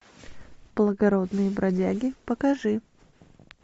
благородные бродяги покажи